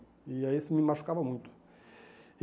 E aí isso me machucava muito. E